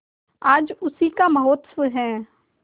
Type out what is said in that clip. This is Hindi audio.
आज उसी का महोत्सव है